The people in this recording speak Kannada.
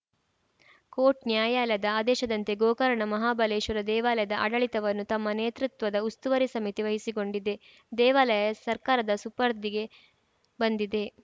ಕೋಟ್‌ ನ್ಯಾಯಾಲಯದ ಆದೇಶದಂತೆ ಗೋಕರ್ಣ ಮಹಾಬಲೇಶ್ವರ ದೇವಾಲಯದ ಆಡಳಿತವನ್ನು ತಮ್ಮ ನೇತೃತ್ವದ ಉಸ್ತುವಾರಿ ಸಮಿತಿ ವಹಿಸಿಕೊಂಡಿದೆ ದೇವಾಲಯ ಸರ್ಕಾರದ ಸುಪರ್ದಿಗೆ ಬಂದಿದೆ